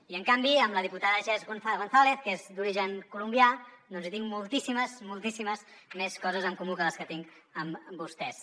i en canvi amb la diputada jess gonzález que és d’origen colombià hi tinc moltíssimes més coses en comú que les que tinc amb vostès